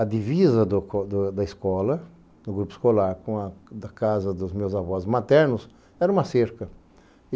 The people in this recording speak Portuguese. A divisa do do da escola, do grupo escolar, com a casa dos meus avós maternos, era uma cerca.